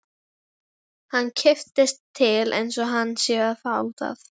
Hann kippist til einsog hann sé að fá það.